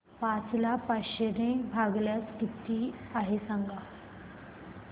पाच ला पाचशे ने भागल्यास किती आहे सांगना